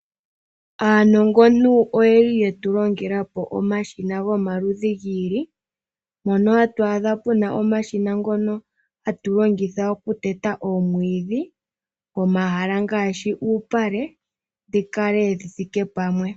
Aanongontu oyeli ye tu longela po omashina gomaludhi gi ili, mpono hatu adha omashina ngono hatu longitha okuteta oomwiidhi, pomahala ngaashi uupale, dhi kale dhi thike pamwe.